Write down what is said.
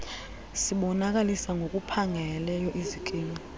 sibonakalisa ngokuphangaleleyo izikimu